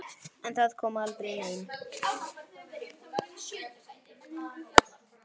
En það kom aldrei neinn.